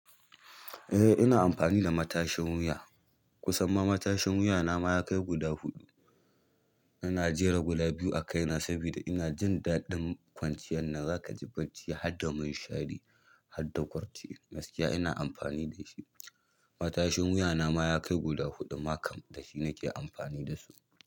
Eh ina amfani da matashin wuya. Kusan ma matashin wuya na mayakai guda huɗu. Ina jera guda biyu a kaina saboda ina jin daɗin kwanciyar na. Zakaji bacci harda minshari, harda gurti, gaskiya ina amfani dashi, matashin wuyana ma ya kai guda huɗu ma kam, dashi nake amfani dasu.